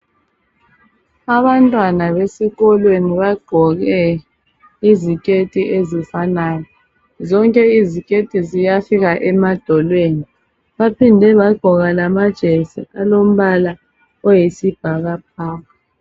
abantwana besikolweni bagqoke iziketi ezifanayo zonke iziketi ziyafika emadolweni baphinde bagqoka lama jesi alombala oyisibhakabhaka